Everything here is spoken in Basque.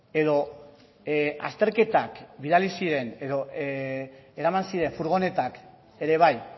edo azterketak bidali ziren edo eraman ziren furgonetak ere bai